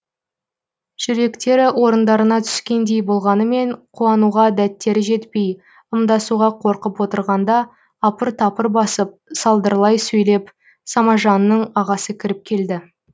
жүректері орындарына түскендей болғанымен қуануға дәттері жетпей ымдасуға қорқып отырғанда апыр тапыр басып салдырлай сөйлеп самажанның ағасы кіріп келді